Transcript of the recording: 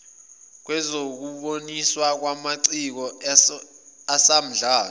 lwezokuboniswa kwamaciko asamdlalo